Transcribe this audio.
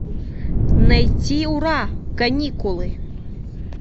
найти ура каникулы